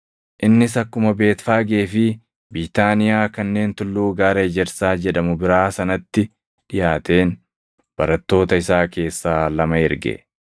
Innis akkuma Beetfaagee fi Biitaaniyaa kanneen tulluu Gaara Ejersaa jedhamu biraa sanatti dhiʼaateen barattoota isaa keessaa lama erge;